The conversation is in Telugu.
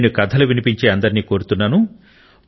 నేను కథలు వినిపించే అందరిని కోరుతు న్నాను